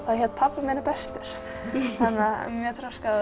það hét pabbi minn er bestur mjög þroskað